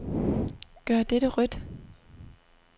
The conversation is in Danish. Gør dette rødt.